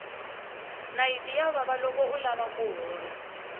nayiti ya vava loko u lava ku hola